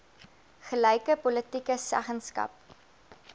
gelyke politieke seggenskap